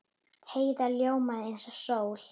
Heiða ljómaði eins og sól.